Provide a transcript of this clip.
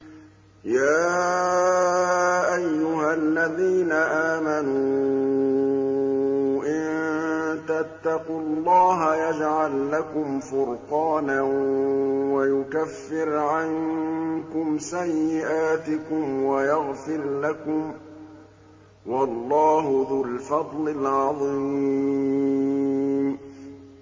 يَا أَيُّهَا الَّذِينَ آمَنُوا إِن تَتَّقُوا اللَّهَ يَجْعَل لَّكُمْ فُرْقَانًا وَيُكَفِّرْ عَنكُمْ سَيِّئَاتِكُمْ وَيَغْفِرْ لَكُمْ ۗ وَاللَّهُ ذُو الْفَضْلِ الْعَظِيمِ